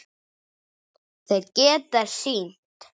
Þeir geta synt.